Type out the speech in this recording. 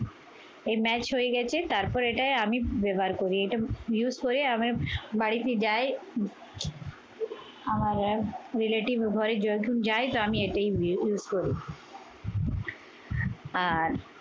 এ match হয়ে গেছে। তারপর এটাই আমি ব্যবহার করি। এটা use হয়ে আমি বাড়িতে যাই আমার এক relative এর ঘরে যখন যাই তো আমি এটা উই use করি। আর